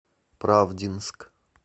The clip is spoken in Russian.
правдинск